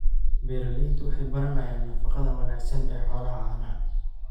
Beeraleydu waxay baranayaan nafaqada wanaagsan ee xoolaha caanaha.